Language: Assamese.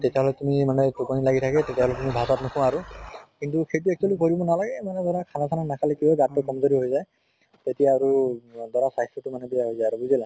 তেতিয়া হʼলে তুমি মান টোপনী লাগি থাকে তেতিয়াহʼলে তুমি ভাত চাত নো খোৱা আৰু। কিন্তু সেইট actually কৰিব নালাগে, এনুকা ধৰা খানা চানা নাখালে কি হয় গা টো কম্জোৰি হৈ যায়। তেতিয়া আৰু অ ধৰা স্বাস্থ্য়টো মানে বেয়া হৈ যায় আৰু বুজিলা?